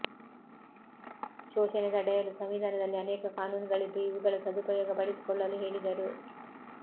ಶೋಷಣೆ ತಡೆಯಲು ಸಂವಿಧಾನದಲ್ಲಿ ಅನೇಕ ಕಾನೂನುಗಳಿದ್ದು ಇವುಗಳ ಸದುಪಯೋಗ ಪಡಿಸಿಕೊಳ್ಳಲು ಹೇಳಿದರು